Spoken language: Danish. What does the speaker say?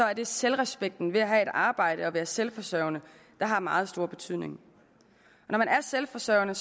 er det selvrespekten ved at have et arbejde og være selvforsørgende der har meget stor betydning når man er selvforsørgende